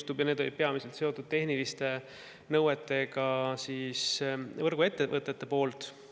Need küsimused olid peamiselt seotud võrguettevõtete seatud tehniliste nõuetega.